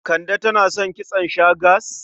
Kande tana son kitson shags?